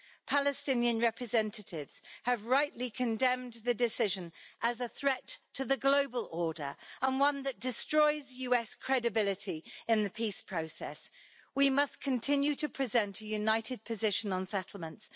Palestinian representatives have rightly condemned the decision as a threat to the global order and one that destroys US credibility in the peace process. We must continue to present a united position on settlements.